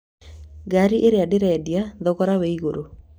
Ngaari ĩrĩa ndĩrendia thogora wĩ igũrũ